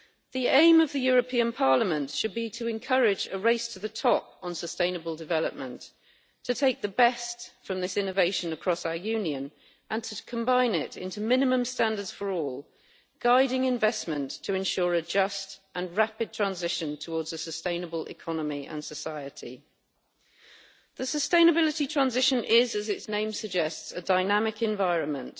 The aim of the European Parliament should be to encourage a race to the top on sustainable development, to take the best from this innovation across our Union and to combine it into minimum standards for all, guiding investment to ensure a just and rapid transition towards a sustainable economy and society. The sustainability transition is, as its name suggests, a dynamic environment.